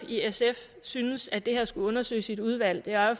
i sf synes at netop det her skal undersøges i et udvalg er jo